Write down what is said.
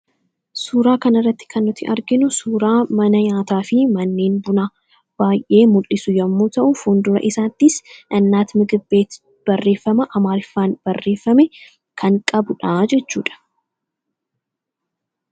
Suuraa kana irratti kan nuti arginu suuraa mana nyaataa fi manneen bunaa baay'ee mul'isu yommuu ta'uu fuul-dura isaattis ''innaati migib-beet'' barreeffama Amaariffaan barreeffame kan qabudha jechuudha.